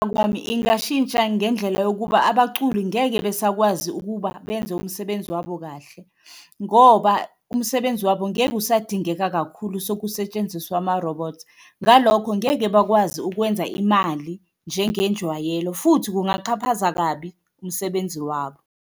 Ngokwami ingashintsha ngendlela yokuba abaculi ngeke besakwazi ukuba benze umsebenzi wabo kahle, ngoba umsebenzi wabo ngeke usadingeka kakhulu sokusetshenziswa amarobhothi. Ngalokho ngeke bakwazi ukwenza imali njengenjwayelo futhi kungachaphaza kabi umsebenzi wabo.